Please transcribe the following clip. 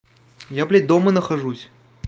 я блядь дома нахожусь